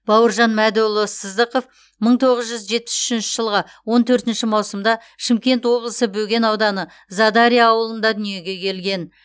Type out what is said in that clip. бауыржан мәдіұлы сыздықов мың тоғыз жүз жетпіс үшінші жылғы он төртінші маусымда шымкент облысы бөген ауданы задарья ауылында дүниеге келген